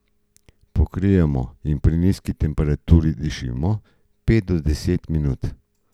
Pokrijemo in pri nizki temperaturi dušimo pet do deset minut.